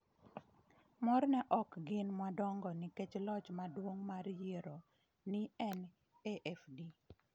Mor ne ok gin madongo nikech loch maduong’ mar yiero ni en AfD.